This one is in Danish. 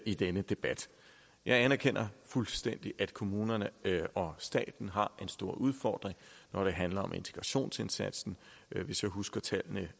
i denne debat jeg anerkender fuldstændig at kommunerne og staten har en stor udfordring når det handler om integrationsindsatsen hvis jeg husker tallene